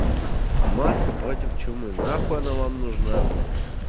маска против чумы на хай она вам нужна бля